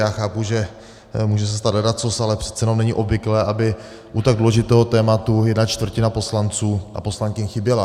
Já chápu, že může se stát ledacos, ale přece jenom není obvyklé, aby u tak důležitého tématu jedna čtvrtina poslanců a poslankyň chyběla.